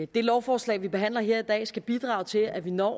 det lovforslag vi behandler her i dag skal bidrage til at vi når